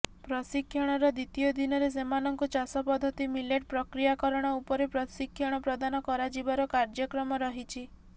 ପ୍ରଶିକ୍ଷଣର ଦ୍ୱିତୀୟ ଦିନରେ ସେମାନଙ୍କୁ ଚାଷ ପଦ୍ଧତି ମିଲେଟ ପ୍ରକ୍ରିୟାକରଣ ଉପରେ ପ୍ରଶିକ୍ଷଣ ପ୍ରଦାନ କରାଯିବାର କାର୍ଯ୍ୟକ୍ରମ ରହିଛି